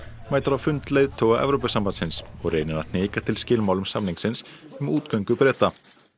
mætir á fund leiðtoga Evrópusambandsins og reynir að hnika til skilmálum samningsins um útgöngu Breta